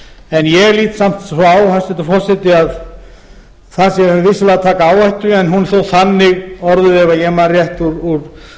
en ég lít samt svo á hæstvirtur forseti að þar séum við vissulega að taka áhættu en ef ég man það rétt úr